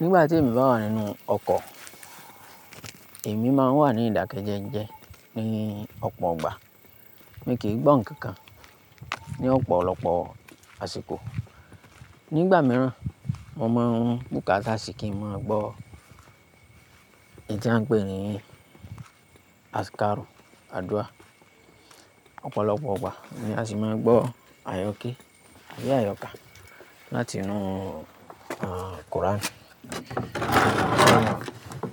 Nígbà tí èmi bá wà nínú ọkọ̀, èmi máa wà ní ìdákẹ́jẹ́jẹ́ ní ọ̀pọ̀ ọgbà. Èmi kì í gbọ́ ǹkan kan ní ọ̀pọ̀lọpọ̀ àsìkò. Nígbà mìíràn, mo máa ń bùkátà sí kí n máa gbọ́ èyí tí wọ́n ń pè ní azikaru, àdúrà. Ọ̀pọ̀lọpọ̀ ọgbà ni a sì máa ń gbọ́ àyọ́kẹ́, ayé àyọkà láti inú àń, Kọ́ránì.